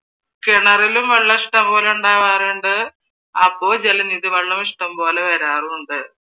കിണറിലും വെള്ളം ഇഷ്ടംപോലെ ഉണ്ടാവാറുണ്ട് അപ്പൊ ജലനിധി വെള്ളവും ഇഷ്ടംപോലെ വരാറുമുണ്ട്.